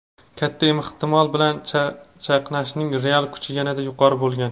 katta ehtimol bilan chaqnashning real kuchi yanada yuqori bo‘lgan.